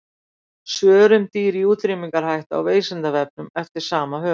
Svör um dýr í útrýmingarhættu á Vísindavefnum eftir sama höfund.